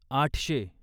आठशे